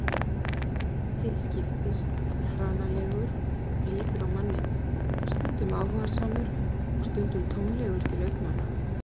Til skiptis hranalegur og blíður á manninn, stundum áhugasamur og stundum tómlegur til augnanna.